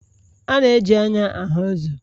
A na-eji anya ahụ uzo